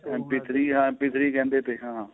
MP three ਜਾਂ MP ਕਹਿੰਦੇ ਤੇ ਹਾਂ